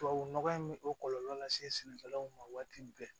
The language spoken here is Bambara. Tubabu nɔgɔ in bɛ o kɔlɔlɔ lase sɛnɛkɛlaw ma waati bɛɛ